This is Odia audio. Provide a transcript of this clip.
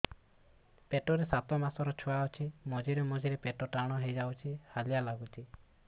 ପେଟ ରେ ସାତମାସର ଛୁଆ ଅଛି ମଝିରେ ମଝିରେ ପେଟ ଟାଣ ହେଇଯାଉଚି ହାଲିଆ ଲାଗୁଚି